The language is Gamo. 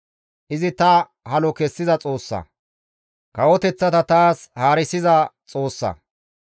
Izi ta halo kessiza Xoossa; kawoteththata taas haarisiza Xoossa.